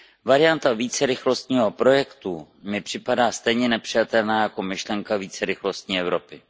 Varianta vícerychlostního projektu mi připadá stejně nepřijatelná jako myšlenka vícerychlostní Evropy.